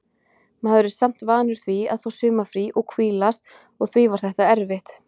Maður er samt vanur því að fá sumarfrí og hvílast og því var þetta erfitt.